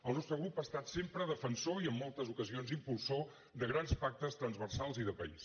el nostre grup ha estat sempre defensor i en moltes ocasions impulsor de grans pactes transversals i de país